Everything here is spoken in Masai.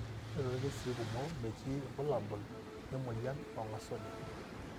Ore toorkesii kumok, metii irbulabul lemuoyian oong'asunye.